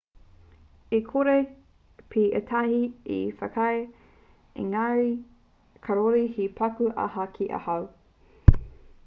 e kore pea ētahi e whakaae engari kāore he paku aha ki ahau